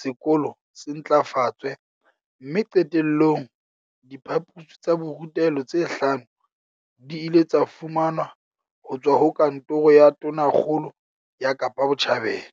sekolo se ntlafatswe mme qete llong, diphaposi tsa borutelo tse hlano di ile tsa fumanwa ho tswa ho Kantoro ya Tonakgolo ya Kapa Botjhabela.